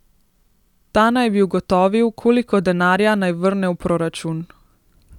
Ta naj bi ugotovil, koliko denarja naj vrne v proračun.